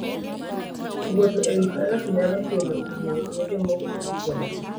Wuotho e wi baraf nyalo kelo hinyruok ne joma wuotho gi tiendgi.